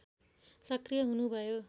सक्रिय हुनुभयो